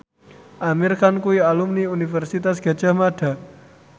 Amir Khan kuwi alumni Universitas Gadjah Mada